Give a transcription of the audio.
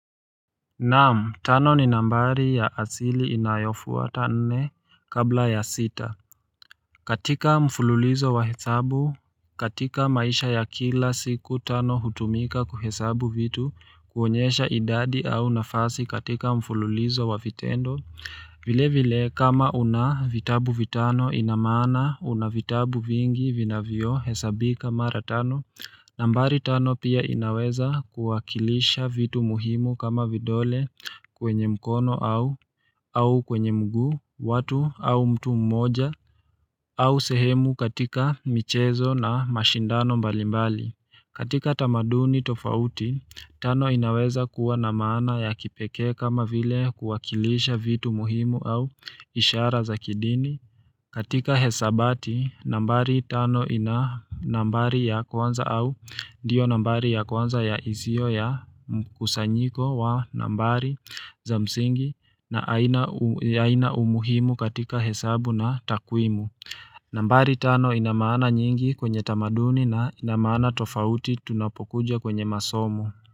Naam, tano ni nambari ya asili inayofuwa tane kabla ya sita katika mfululizo wa hesabu, katika maisha ya kila siku tano hutumika kuhesabu vitu kuonyesha idadi au nafasi katika mfululizo wa vitendo vile vile kama una vitabu vitano inamana una vitabu vingi vina vio hesabika maratano nambari tano pia inaweza kuwakilisha vitu muhimu kama vidole kwenye mkono au kwenye mguu, watu au mtu mmoja au sehemu katika michezo na mashindano mbalimbali. Katika tamaduni tofauti, tano inaweza kuwa namaana ya kipeke kama vile kuwakilisha vitu muhimu au ishara za kidini. Katika hesabati, nambari tano ina nambari ya kwanza au ndiyo nambari ya kwanza ya izio ya kusanyiko wa nambari za msingi na aina umuhimu katika hesabu na takwimu. Nambari tano ina maana nyingi kwenye tamaduni na ina maana tofauti tunapokuja kwenye masomo.